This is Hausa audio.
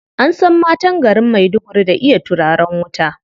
An san matan garin Maiduguri da iya turaren wuta.